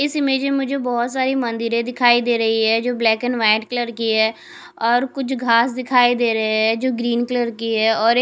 इस इमेज में मुझे बहोत सारी मंदिरें दिखाई दे रही है जो ब्लैक एंड व्हाइट कल की है और कुछ घास दिखाई दे रहे है जो ग्रीन कलर की है और एक--